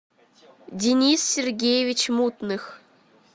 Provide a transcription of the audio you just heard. денис сергеевич мутных